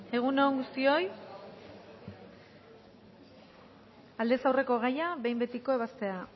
egun on guztioi aldez aurreko gaia behin betiko ebaztea